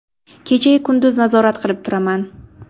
Kecha-yu kunduz nazorat qilib turaman.